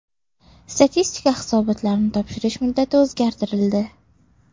Statistika hisobotlarini topshirish muddati o‘zgartirildi.